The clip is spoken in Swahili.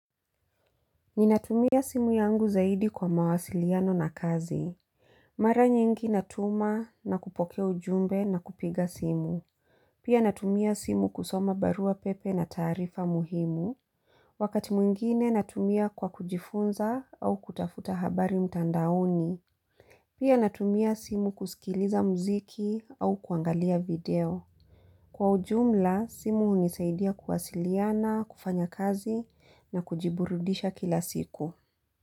Ninatumia simu yangu zaidi kwa mawasiliano na kazi. Mara nyingi natuma na kupokea ujumbe na kupiga simu. Pia natumia simu kusoma barua pepe na taarifa muhimu. Wakati mwingine natumia kwa kujifunza au kutafuta habari mtandaoni. Pia natumia simu kusikiliza muziki au kuangalia video. Kwa ujumla simu hunisaidia kuwasiliana, kufanya kazi na kujiburudisha kila siku.